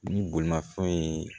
Ni bolimanfɛn ye